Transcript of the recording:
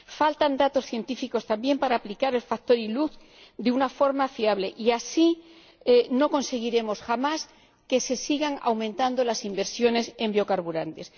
Faltan datos científicos también para aplicar el factor ILUC de una forma fiable y así no conseguiremos jamás que se sigan aumentando las inversiones en biocarburantes.